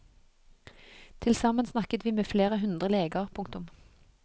Til sammen snakket vi med flere hundre leger. punktum